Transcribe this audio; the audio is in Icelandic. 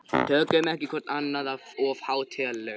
Tökum ekki hvort annað of hátíðlega.